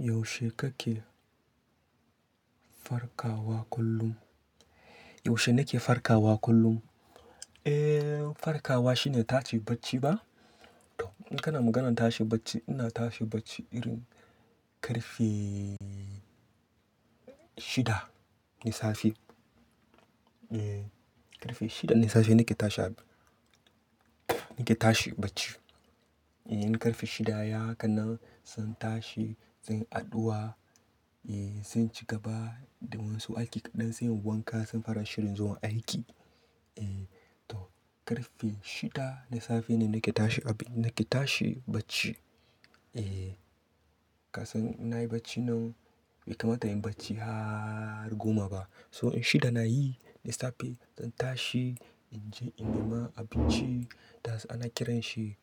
Yaushe kake farkawa kullum? Yaushe nake farkawa kullum? Eh, farkawa shine tashi bacci ba? To in kana maganan tashi bacci, ina tashi bacci irin karfe shida na safe. Eh, karfe shida na safe nake tashi, nake tashi bacci. Eh, in karfe shida ya kan nan zan tashi, zan yi addu'a, eh zan ci gaba da wasu aiki ƙaɗan, zan yi wanka, zan fara shirin zuwa aiki. Eh to karfe shida na safe ne nake tashi, nake tashi bacci. Eh, kasan ina yi bacci nan bai kamata in yi bacci har goma ba. So in shida na yi na safe zan tashi, in je in nema abinci, that is kiran shi